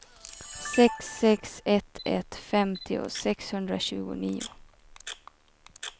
sex sex ett ett femtio sexhundratjugonio